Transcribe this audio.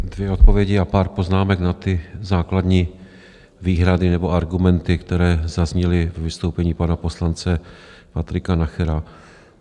Dvě odpovědi a pár poznámek na ty základní výhrady nebo argumenty, které zazněly ve vystoupení pana poslance Patrika Nachera.